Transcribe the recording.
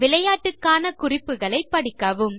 விளையாட்டுக்கான குறிப்புகளை படிக்கவும்